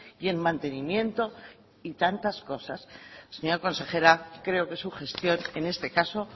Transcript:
y en mantenimiento y tantas cosas señora consejera creo que su gestión en este caso